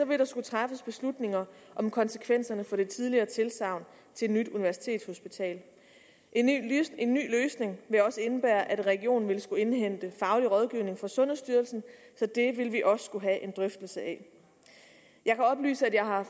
vil der skulle træffes beslutninger om konsekvenserne for det tidligere tilsagn til et nyt universitetshospital en ny løsning vil også indebære at regionen vil skulle indhente faglig rådgivning fra sundhedsstyrelsen så det vil vi også skulle have en drøftelse af jeg kan oplyse at jeg har